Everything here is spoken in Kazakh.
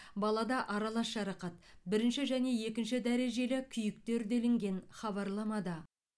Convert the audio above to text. балада аралас жарақат бірінші және екінші дәрежелі күйіктер делінген хабарламада